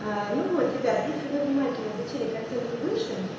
ну вот ребят если вы внимательно изучили картинку выше